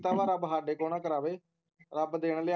ਇੱਦਾਂ ਦਾ ਰੱਬ ਸਾਡੇ ਤੋਂ ਨਾ ਕਰਾਵੇ ਰੱਬ ਦਿਨ ਲਿਆਵੇ